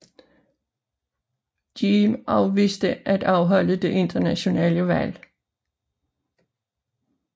Diem afviste at afholde det nationale valg